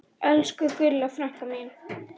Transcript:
Elsku Gulla frænka mín.